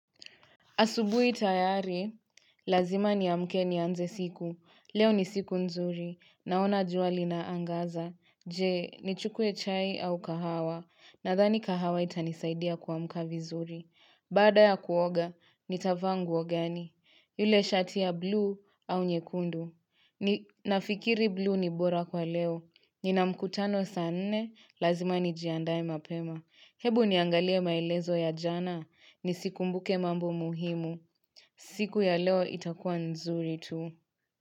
Asubui tayari, lazima ni amke ni anze siku, leo ni siku nzuri, naona jua li na angaza, jee, ni chukue chai au kahawa, nadhani kahawa itanisaidia kuamka vizuri. Baada ya kuoga, nitavaa nguo gani. Yule shati ya blue au nyekundu. Nafikiri blue ni bora kwa leo. Nina mkutano saa nne, lazima ni jiandae mapema. Hebu niangalia maelezo ya jana, nisikumbuke mambo muhimu. Siku ya leo itakuwa nzuri tu.